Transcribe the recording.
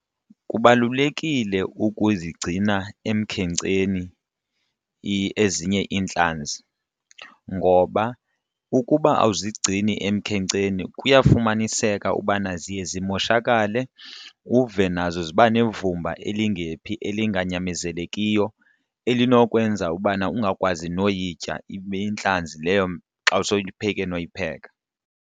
Kubalulekile ukuzigcina emkhenkceni ezinye iintlanzi ngoba ukuba awuzigcini emkhenkceni kuyafumaniseka ubana ziye zimoshakale uve nazo ziba nevumba elingephi elinganyamezelekiyo elinokwenza ubana ungakwazi noyitya ibe intlanzi leyo xa soyipheke noyipheka.